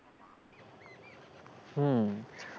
হম